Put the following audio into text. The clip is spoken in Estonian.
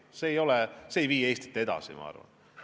See ei vii Eestit edasi, ma arvan.